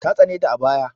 Ta tsane ta sosai a baya.